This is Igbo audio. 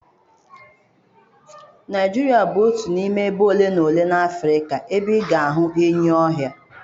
Naijiria bụ otu n'ime ebe ole na ole n'Afrịka ebe ị ga-ahụ enyi ọhịa.